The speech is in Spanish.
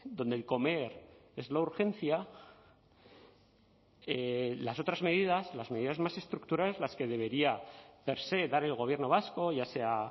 dónde el comer es la urgencia las otras medidas las medidas más estructurales las que debería per se dar el gobierno vasco ya sea